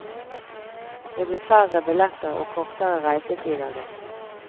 Det blir færre billetter og kortere reisetid av det.